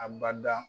A bada